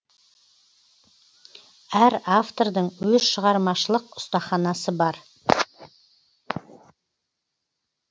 әр автордың өз шығармашылық ұстаханасы бар